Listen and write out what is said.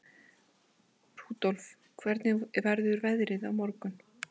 Rudolf, hvernig verður veðrið á morgun?